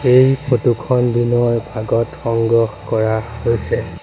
এই ফটো খন দিনৰ ভাগত সংগ্ৰহ কৰা হৈছে।